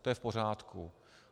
To je v pořádku.